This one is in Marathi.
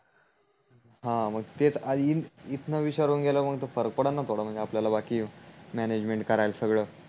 हा मग तेच इथण विचारून गेल्यावर फरक पडल न थोड म्हणजे आपल्याला बाकी म्यानेजमेंट करायला सगड